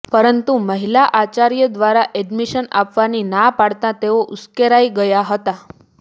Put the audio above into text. પરંતુ મહિલા આચાર્ય દ્વારા એડમિશન આપવાની ના પાડતા તેઓ ઉશ્કેરાઈ ગયા હતા